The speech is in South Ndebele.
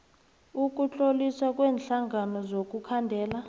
ukutloliswa kweenhlangano zokukhandela